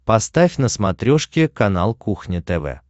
поставь на смотрешке канал кухня тв